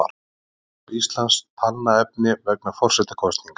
Þjóðskrá Íslands Talnaefni vegna forsetakosninga.